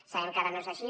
sabem que ara no és així